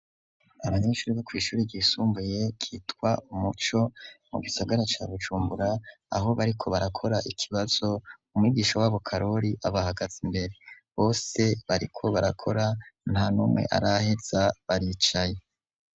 Abanyeshuri bo kw'ishuri ryisumbuye ryitwa umuco mu gisagara ca Bujumbura aho bariko barakora ikibazo umwigisha wabo karoli abahagaze imbere bose bariko barakora nta numwe araheza baricaye.